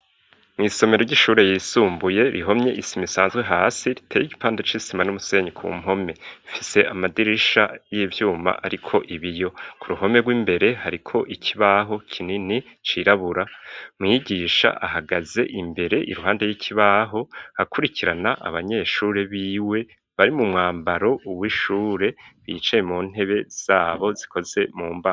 Mwisomero ry'ishure yisumbuye rihomye isima isanzwe hasi riteye igipanda c'isima n'umusenyi ku mpome ifise amadirisha y'ivyuma ariko ibiyo ku ruhome rw'imbere hariko ikibaho kinini cirabura .Mwigisha ahagaze imbere i ruhande ry'ikibaho akurikirana abanyeshure biwe bari mu mwambaro uw ishure bicaye mu ntebe zabo zikoze mumbaho.